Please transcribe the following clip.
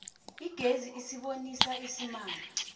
igezi isibonisa isimanga